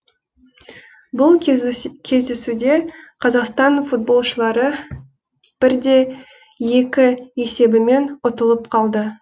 бұл кездесуде қазақстан футболшылары бір де екі есебімен ұтылып қалды